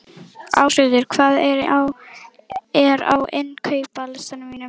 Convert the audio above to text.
Ásgautur, hvað er á innkaupalistanum mínum?